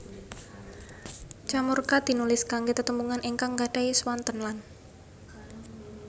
Ca murca tinulis kanggé tetembungan ingkang nggadahi swanten lan